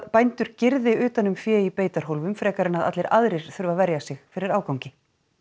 bændur girði utan um fé í beitarhólfum frekar en allir aðrir þurfi að verja sig fyrir ágangi